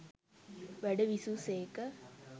වැඩ විසූ සේක